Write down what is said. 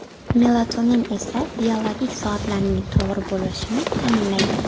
Melatonin esa, biologik soatlarning to‘g‘ri bo‘lishini ta’minlaydi.